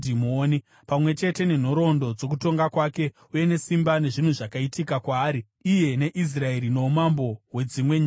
pamwe chete nenhoroondo dzokutonga kwake, uye nesimba, nezvinhu zvakaitika kwaari iye neIsraeri noumambo hwedzimwe nyika dzose.